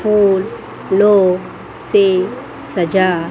फूल लों से सजा --